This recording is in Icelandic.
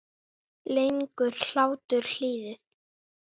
Lengir hlátur lífið?